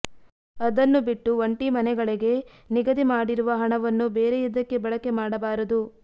ಅದನ್ನು ಬಿಟ್ಟು ಒಂಟಿ ಮನೆಗಳಿಗೆ ನಿಗದಿ ಮಾಡಿರುವ ಹಣವನ್ನು ಬೇರೆಯದಕ್ಕೆ ಬಳಕೆ ಮಾಡಬಾರದು